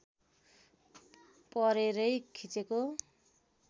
परेरै खिचेको